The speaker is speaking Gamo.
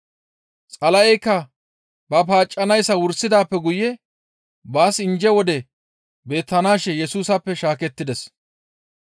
Xala7eykka ba paaccanayssa wursidaappe guye baas injje wodey beettanaashe Yesusappe shaakettides.